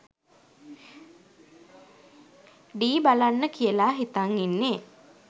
ඩී බලන්න කියලා හිතන් ඉන්නේ.